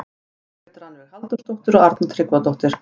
Margrét Rannveig Halldórsdóttir og Arna Tryggvadóttir.